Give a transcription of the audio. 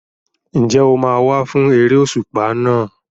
Ǹjẹ́ o máa wá fún eré òṣùpá náà?